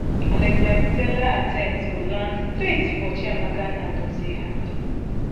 alexia putellas attempt go land straight for chiamaka nnadozie hand